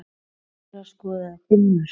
Hver þeirra skoraði fimm mörk.